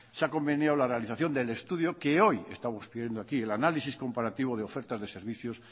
se ha conveniado la realización del estudio que hoy estamos pidiendo aquí el análisis comparativo de ofertas de servicios